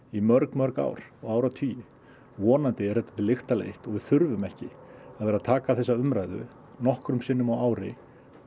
í mörg mörg ár og áratugi vonandi er þetta til lykta leitt og við þurfum ekki að vera að taka þessa umræðu nokkrum sinnum á ári